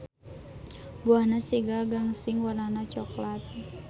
Buahna siga gangsing warnana coklat.